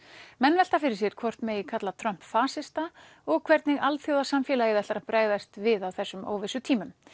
menn velta fyrir sér hvort megi kalla Trump fasista og hvernig alþjóðasamfélagið ætlar að bregðast við á þessum óvissutímum